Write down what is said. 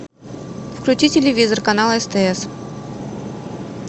включи телевизор канал стс